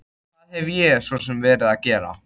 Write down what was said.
Hvað hef ég svo sem verið að gera?